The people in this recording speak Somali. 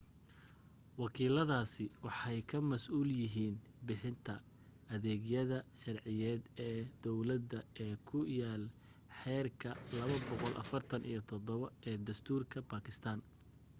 wakiiladaasi waxay ka masuul yihiin bixinta adeegyada sharciyeed ee dawladda ee ku yaal xeerka 247 ee dastuurka bakistaan